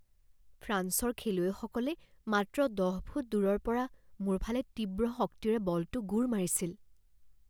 ফ্ৰান্সৰ খেলুৱৈসকলে মাত্ৰ দহ ফুট দূৰৰ পৰা মোৰ ফালে তীব্ৰ শক্তিৰে বলটো গোৰ মাৰিছিল